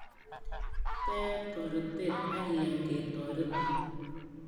Tee toretet ak iyan ketoretin